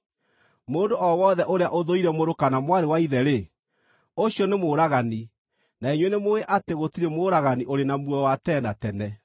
Mũndũ o wothe ũrĩa ũthũire mũrũ kana mwarĩ wa ithe-rĩ, ũcio nĩ mũũragani, na inyuĩ nĩmũũĩ atĩ gũtirĩ mũũragani ũrĩ na muoyo wa tene na tene.